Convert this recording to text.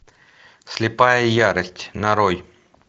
слепая ярость нарой